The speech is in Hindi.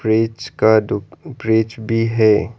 फ्रिज का दु फ्रिज भी है।